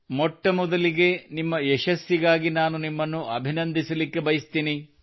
ಮೊಟ್ಟ ಮೊದಲಿಗೆ ನಿಮ್ಮ ಯಶಸ್ಸಿಗಾಗಿ ನಾನು ನಿಮ್ಮನ್ನು ಅಭಿನಂದಿಸಲು ಬಯಸುತ್ತೇನೆ